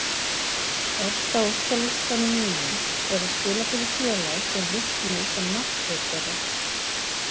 Efst á óskalistanum mínum er að spila fyrir félag sem vill mig sem markvörð þeirra.